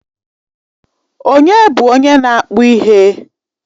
Ònye bụ onye na-akpụ ihe?